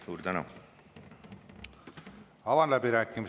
Suur tänu!